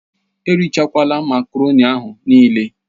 Erichakwala makaroni ahụ nịịle!